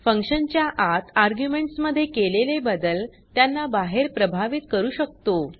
function च्या आत arguments मध्ये केलेले बदल त्यांना बाहेर प्रभावित करू शकतो